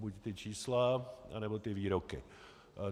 Buď ta čísla, anebo ty výroky.